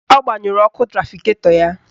Ọ gbanyụrụ ọkụ trafiketọ ya.